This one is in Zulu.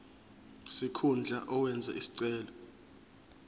sikhundla owenze isicelo